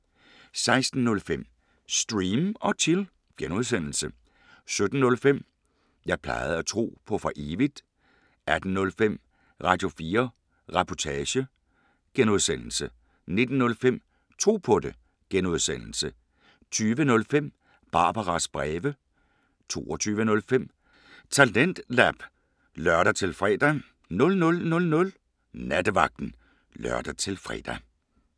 16:05: Stream & Chill (G) 17:05: Jeg plejede at tro på for evigt 18:05: Radio4 Reportage (G) 19:05: Tro på det (G) 20:05: Barbaras breve 22:05: TalentLab (lør-fre) 00:00: Nattevagten (lør-fre)